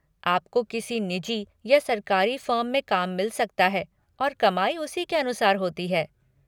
आपको किसी निजी या सरकारी फ़र्म में काम मिल सकता है और कमाई उसी के अनुसार होती है।